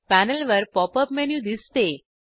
panel वर pop up menu दिसते